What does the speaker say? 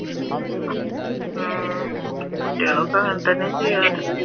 ആഹ് കുട്ടികളൊക്കെ അങ്ങനെ തന്നെയാ ചെയ്യാർ